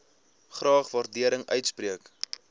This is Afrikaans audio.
graag waardering uitspreek